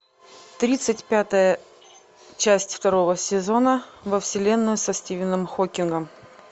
тридцать пятая часть второго сезона во вселенную со стивеном хокингом